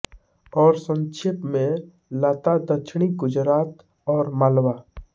और संक्षेप में लता दक्षिणी गुजरात और मालवा